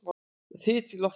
Þyt í loftinu?